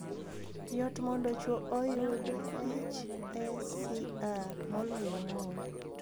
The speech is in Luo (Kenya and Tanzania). Yot mondo chuo oyud HSCR moloyo Mon.